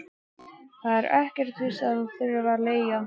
Það er ekkert víst að ég þurfi að leigja.